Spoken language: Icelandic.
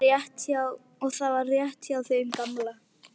Og það var rétt hjá þeim gamla.